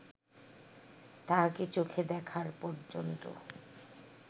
তাহাকে চোখে দেখার পর্যন্ত